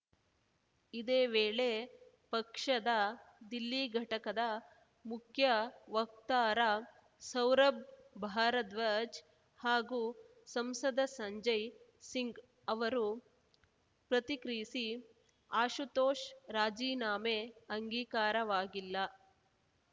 ಇದೇ ವೇಳೆ ಪಕ್ಷದ ದಿಲ್ಲಿ ಘಟಕದ ಮುಖ್ಯ ವಕ್ತಾರ ಸೌರಭ್‌ ಭಾರದ್ವಾಜ್‌ ಹಾಗೂ ಸಂಸದ ಸಂಜಯ್‌ ಸಿಂಗ್‌ ಅವರು ಪ್ರತಿಕ್ರಿಯಿಸಿ ಆಶುತೋಷ್‌ ರಾಜೀನಾಮೆ ಅಂಗೀಕಾರವಾಗಿಲ್ಲ